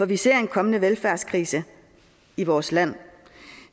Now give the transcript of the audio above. vi ser en kommende velfærdskrise i vores land